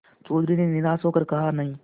चौधरी ने निराश हो कर कहानहीं